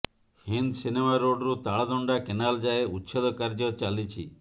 Hind cinema ରୋଡରୁ Taladanda canal ଯାଏଁ ଉଚ୍ଛେଦ କାର୍ଯ୍ୟ ଚାଲିଛି